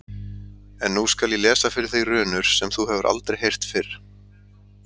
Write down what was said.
En nú skal ég lesa fyrir þig runur sem þú hefur aldrei heyrt fyrr.